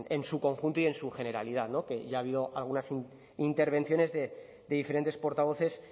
en su conjunto y en su generalidad no que ya ha habido algunas intervenciones de diferentes portavoces